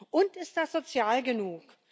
Und ist das sozial genug?